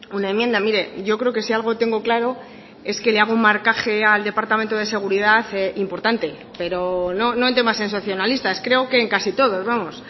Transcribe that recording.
una enmienda mire yo creo que si algo tengo claro es que le hago un marcaje al departamento de seguridad importante pero no en temas sensacionalistas creo que en casi todos vamos